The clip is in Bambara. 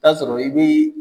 taa sɔrɔ i bɛ